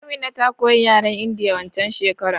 Amina ta koyi yaren indiya waccan shekerar